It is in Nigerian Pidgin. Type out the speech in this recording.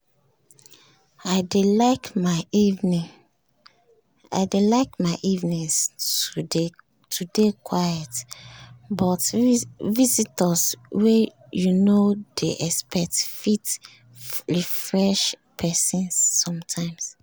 i dey like my evenings to dey quiet but visitors wey you nor dey expect fit refresh pesin sometimes